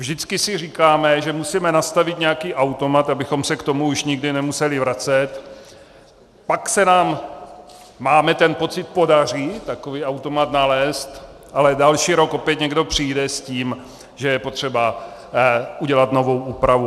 Vždycky si říkáme, že musíme nastavit nějaký automat, abychom se k tomu už nikdy nemuseli vracet, pak se nám, máme ten pocit, podaří takový automat nalézt, ale další rok opět někdo přijde s tím, že je potřeba udělat novou úpravu.